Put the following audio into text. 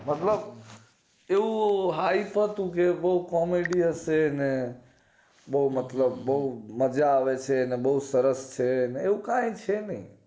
મતલબ એવું hype હતું બોવ કોમડી હશે ને બોવ મતલબ મજા આવે છે ને બોવ સરસ છે ને એવું કાય છે નય